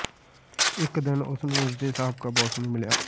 ਇਕ ਦਿਨ ਉਸ ਨੂੰ ਉਸ ਦੇ ਸਾਬਕਾ ਬੌਸ ਨੂੰ ਮਿਲਿਆ